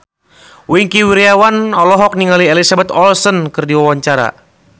Wingky Wiryawan olohok ningali Elizabeth Olsen keur diwawancara